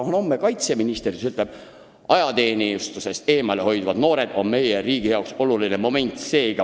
Kui ta homme on kaitseminister, siis ta ütleb: "Ajateenistusest eemale hoidvad noored on meie riigi jaoks suur probleem.